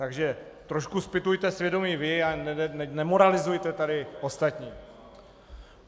Takže trošku zpytujte svědomí vy a nemoralizujte tady ostatní.